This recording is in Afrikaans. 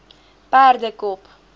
perdekop